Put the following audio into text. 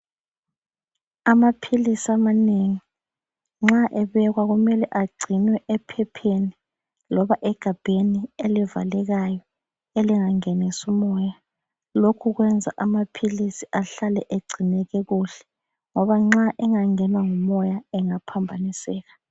Amaphiisi amanengi nxa ebekwa kumele agcinwe ephepheni loba egabheni elivalekayo, elinga ngenisi umoya lokhu kwenza amaphilisi ahlale egcineke kuhle ngoba nxa enga ngenwa ngumoya engaphambaniseka.